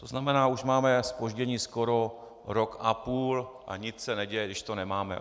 To znamená, že už máme zpoždění skoro rok a půl a nic se neděje, když to nemáme.